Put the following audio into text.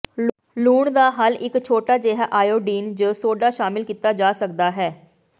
ਲੂਣ ਦਾ ਹੱਲ ਇੱਕ ਛੋਟਾ ਜਿਹਾ ਆਇਓਡੀਨ ਜ ਸੋਡਾ ਸ਼ਾਮਿਲ ਕੀਤਾ ਜਾ ਸਕਦਾ ਹੈ